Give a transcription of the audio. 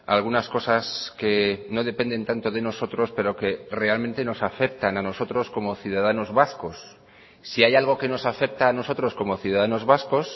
algunas cosas que no dependen tanto de nosotros pero que realmente nos afectan a nosotros como ciudadanos vascos si hay algo que nos afecta a nosotros como ciudadanos vascos